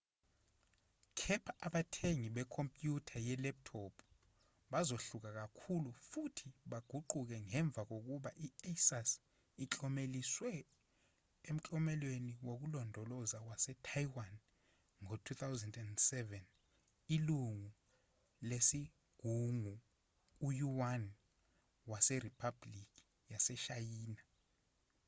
kepha abathengi bekhompyutha ye-laptop bazohluka kakhulu futhi baguquke ngemva kokuba i-asus iklomeliswe eklomelweni wokulondoloza wase-taiwan ngo-2007 ilungu lesigungu uyuan waseriphabhulikini yaseshayina